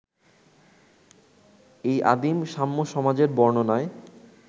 এই আদিম সাম্যসমাজের বর্ণনায়